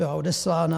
Byla odeslána?